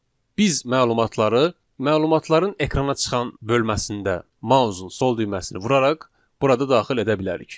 Biz məlumatları, məlumatların ekrana çıxan bölməsində, mausun sol düyməsini vuraraq burada daxil edə bilərik.